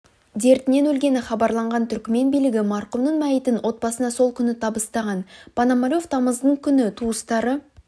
дертінен өлгені хабарланған түркімен билігі марқұмның мәйітін отбасына сол күні табыстаған пономарев тамыздың күні туыстары